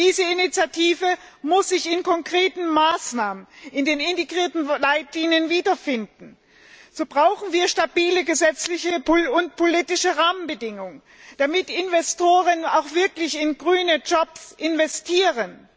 Diese Initiative muss sich in konkreten Maßnahmen, in den integrierten Leitlinien wiederfinden. So brauchen wir stabile gesetzliche und politische Rahmenbedingungen, damit Investoren auch wirklich in grüne Jobs investieren.